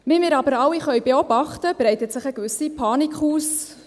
Wie wir aber alle beobachten können, breitet sich eine gewisse Panik aus: